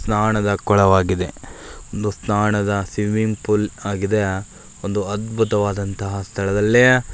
ಸ್ನಾನದ ಕೊಳವಾಗಿದೆ ಒಂದು ಸ್ನಾನದ ಸ್ವಿಮಿಂಗ್ ಫೂಲ್ ಆಗಿದೆಯಾ ಒಂದು ಅದ್ಭುತವಾದ ಸ್ಥಳದಲ್ಲಿಯೇ --